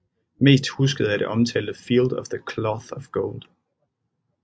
Mest husket er det omtalte Field of the Cloth of Gold